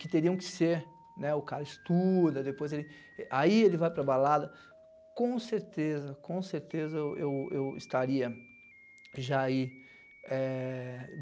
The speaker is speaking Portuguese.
que teriam que ser, né, o cara estuda, aí ele vai para a balada, com certeza com certeza eu eu eu estaria já aí é...